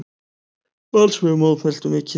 Valsmenn mótmæltu mikið.